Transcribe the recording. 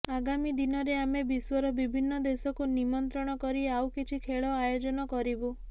ଆଗାମୀ ଦିନରେ ଆମେ ବିଶ୍ୱର ବିଭିନ୍ନ ଦେଶକୁ ନିମନ୍ତ୍ରଣ କରି ଆଉ କିଛି ଖେଳ ଆୟୋଜନ କରିବୁ